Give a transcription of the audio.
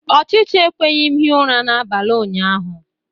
Ọchịcha ekweghị m hie ụra n'abalị ụnyaahụ